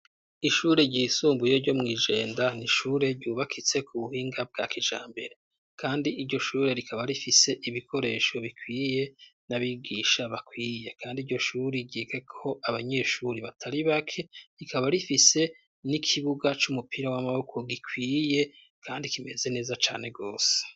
Ishure ryisumbuye ryo mw'Ijenda. Ni ishure ryubakitse ku buhinga bwa kijambere. Kandi iryo shure rikaba rifise ibikoreshoo bikwiye, n'abigisha bakwiye. Kandi iryo shure ryigako abanyeshure batari bake. Rikaba rifise n'ikibuga c'umupira w'amaboko gikwiye kandi kimeze neza cane rwose.